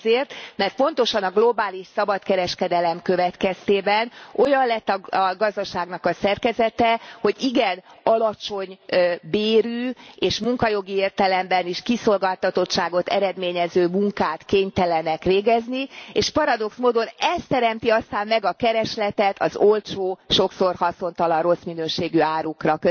Azért, mert pontosan a globális szabadkereskedelem következtében olyan lett a gazdaságnak a szerkezete, hogy igen alacsony bérű és munkajogi értelemben is kiszolgáltatottságot eredményező munkát kénytelenek végezni, és paradox módon ez teremti aztán meg a keresletet az olcsó, sokszor haszontalan, rossz minőségű árukra.